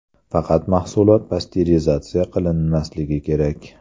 Faqat mahsulot pasterizatsiya qilinmasligi kerak.